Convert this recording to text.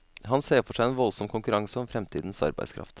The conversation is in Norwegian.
Han ser for seg en voldsom konkurranse om fremtidens arbeidskraft.